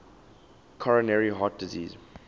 coronary heart disease